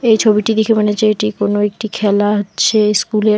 এই ছবিটি দেখে মনে হচ্ছে এটি কোন একটি খেলা হচ্ছে স্কুল এর।